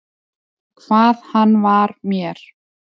Hvað hann var mér.